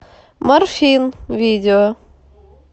морфин видео